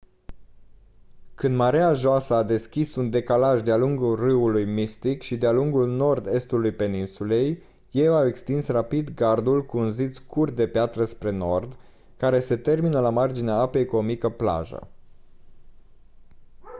când mareea joasă a deschis un decalaj de-a lungul râului mystic și de-a lungul nord estului peninsulei ei au extins rapid gardul cu un zid scurt de piatră spre nord care se termină la marginea apei cu o mică plajă